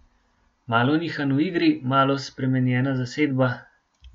Malo nihanj v igri, malo spremenjena zasedba ...